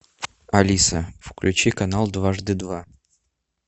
алиса включи канал дважды два